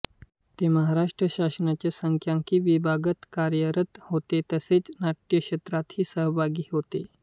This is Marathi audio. ते महाराष्ट्र शासनाच्या सांख्यिकी विभागात कार्यरत होते तसेच नाट्यक्षेत्रातही सहभागी होते